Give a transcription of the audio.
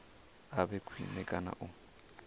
a vhe khwine kana u